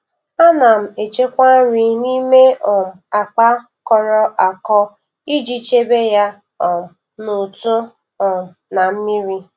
Ana m echekwa nri n'ime um akpa kọrọ akọ iji chebe ya um n'ụtụ um na mmiri